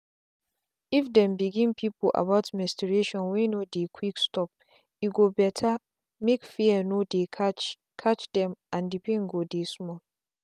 if them begin people about menstruation wey no dey quick stope go bettermake fear no dey catch catch dem and the pain go dey small.